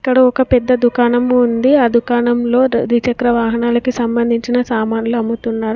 ఇక్కడ ఒక పెద్ద దుకాణం ఉంది ఆ దుకాణంలో ద్విచక్ర వాహనాలకు సంబంధించిన సామాన్లు అమ్ముతున్నారు.